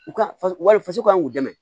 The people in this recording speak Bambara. U ka faso wali faso kan k'u dɛmɛ